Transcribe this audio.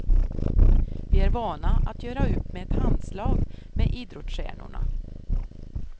Vi är vana att göra upp med ett handslag med idrottsstjärnorna.